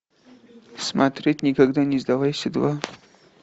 смотреть никогда не сдавайся два